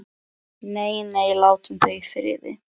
Nei, nei, látum þau í friði.